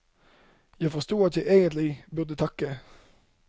Jeg forstod at jeg egentlig burde takke.